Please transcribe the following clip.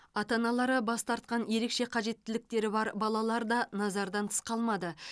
ата аналары бас тартқан ерекше қажеттіліктері бар балалар да назардан тыс қалмады